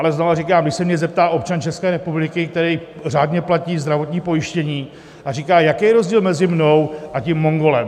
Ale znova říkám - když se mě zeptá občan České republiky, který řádně platí zdravotní pojištění a říká: Jaký je rozdíl mezi mnou a tím Mongolem?